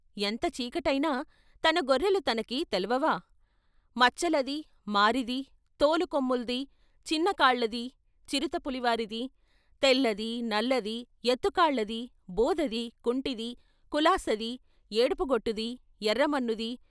ఎంత చీకటయినా తన గొర్రెలు తనకి తెలవ్వా, "మచ్చలది, మారిది, తోలు కొమ్ముల్ది, చిన్న కాళ్ళది, చిరుతపులివారది, తెల్లది, నల్లది, ఎత్తు కాళ్ళది, బోదది, కుంటిది, కులాసది, ఏడుపు గొట్టుది, ఎర్రమన్నుది...